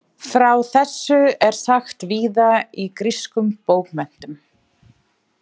Frá þessu er sagt víða í grískum bókmenntum.